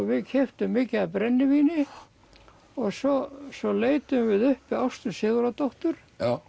við keyptum mikið af brennivíni og svo svo leituðum við uppi Ástu Sigurðardóttur